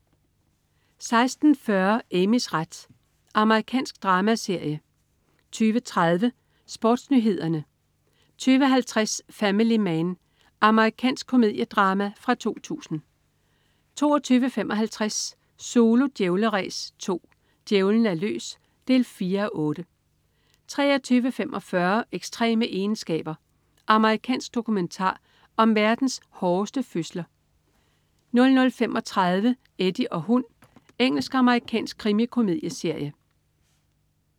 16.40 Amys ret. Amerikansk dramaserie 20.30 SportsNyhederne 20.50 Family Man. Amerikansk komediedrama fra 2000 22.55 Zulu Djævleræs 2. Djævlen er løs. 4:8 23.45 Ekstreme egenskaber. Amerikansk dokumentar om verdens hårdeste fødsler 00.35 Eddie og hund. Engelsk-amerikansk krimikomedieserie